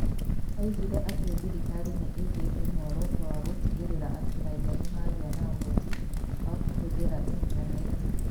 Oigire atĩ thirikari nĩ ĩigĩte muoroto wa gũtigĩrĩra atĩ raiya nĩ magĩa na ũhoti wa kũhũthĩra intaneti.